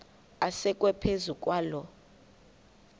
asekwe phezu kwaloo